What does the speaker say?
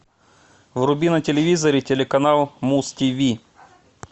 вруби на телевизоре телеканал муз тиви